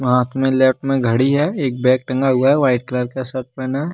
हाथ में लेफ्ट में घड़ी है एक बैग टंगा हुआ है व्हाइट कलर का शर्ट पहना है।